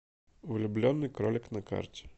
влюбленный кролик на карте